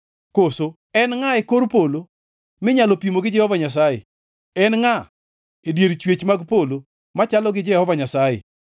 Koso en ngʼa e kor polo minyalo pimo gi Jehova Nyasaye? En ngʼa e dier chwech mag polo machalo gi Jehova Nyasaye?